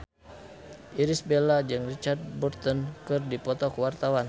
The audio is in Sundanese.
Irish Bella jeung Richard Burton keur dipoto ku wartawan